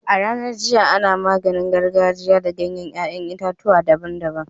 A'ranan jiya, ana maganin gargajia da ganyen yayan itatuwa daban-daban.